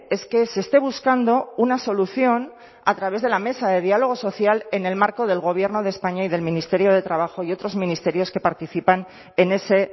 es que se esté buscando una solución a través de la mesa de diálogo social en el marco del gobierno de españa y del ministerio de trabajo y otros ministerios que participan en ese